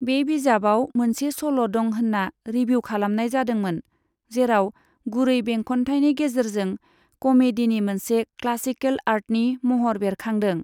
बे बिजाबआव मोनसे सल' दं होनना रिभिउ खालामनाय जादोंमोन, जेराव गुरै बेंखनथायनि गेजेरजों कमेडीनि मोनसे क्लासिकेल आर्टनि महर बेरखांदों।